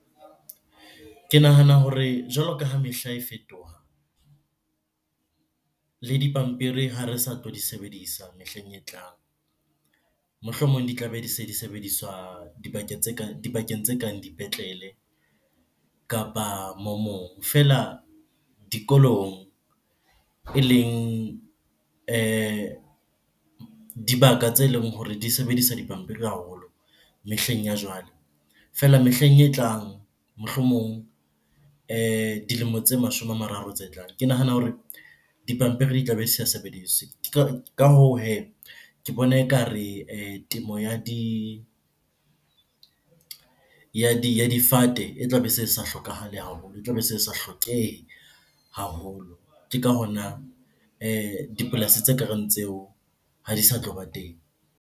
Ke nahana hore jwalo ka ha mehla e fetoha le dipampiri ha re sa tlo di sebedisa mehleng e tlang. Mohlomong di tlabe di se di sebediswa dibakeng tse kang dipetlele kapa . Feela dikolong eleng dibaka tse leng hore di sebedisa dipampiri haholo mehleng ya jwale. Feela mehleng e tlang, mohlomong dilemo tse mashome a mararo tse tlang, ke nahana hore dipampiri di tlabe di sa sebediswe. Ka hoo hee, ke bona ekare temo ya difate e tlabe se sa hlokahale haholo, e tlabe e se sa hlokehe haholo. Ke ka hona dipolasi tse kareng tseo ha di sa tloba teng.